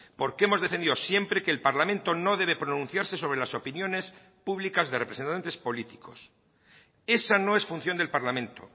porque hemos defendido siempre que el parlamento no debe pronunciarse sobre las opiniones públicas de representantes políticos esa no es función del parlamento